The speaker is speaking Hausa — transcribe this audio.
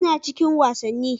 Ina cikin wasanni.